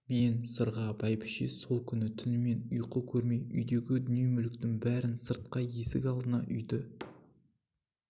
мен сырға бәйбіше сол күні түнімен ұйқы көрмей үйдегі дүние-мүліктің бәрін сыртқа есік алдына үйді